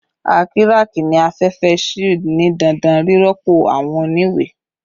A kiraki ni afẹfẹ shield ni dandan rirọpo awọn oniwe-